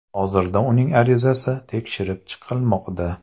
Hozirda uning arizasi tekshirib chiqilmoqda.